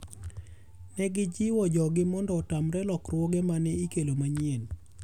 Negijiwo joggi mondo otamre lokruoge mane ikelo manyien.